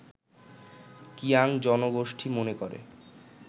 কিয়াং জনগোষ্ঠী মনে করে